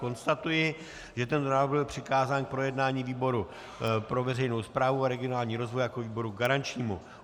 Konstatuji, že tento návrh byl přikázán k projednání výboru pro veřejnou správu a regionální rozvoj jako výboru garančnímu.